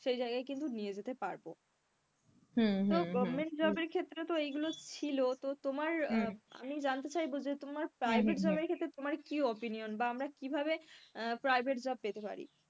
সেই জায়গায় কিন্তু নিয়ে যেতে পারবো তো government job এর ক্ষেত্রে তো এইগুলো ছিল তো তোমার আমি জানতে চাইবো যে তোমার private job এর ক্ষেত্রে তোমার কি opinion বা আমরা কিভাবে private job পেতে পারি?